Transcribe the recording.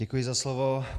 Děkuji za slovo.